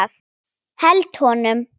Held honum.